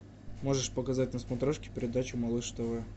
можешь показать на смотрешке передачу малыш тв